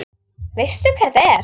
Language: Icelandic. Veistu hver þetta er?